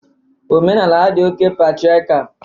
Omenala ha dị oké patriakial